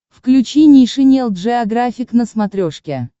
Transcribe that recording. включи нейшенел джеографик на смотрешке